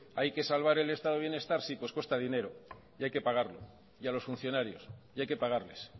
hay que salvar el estado de bienestar sí pues cuesta dinero y hay que pagarlo y a los funcionarios y hay que pagarles